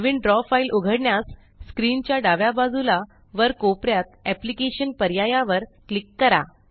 नवीन draw file उघडण्यास screen च्या डाव्या बाजूला वर कोपऱ्यात एप्लिकेशन पर्यायावर क्लिक करा